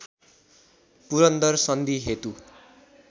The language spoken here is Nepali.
पुरन्दर सन्धि हेतु